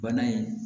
Bana in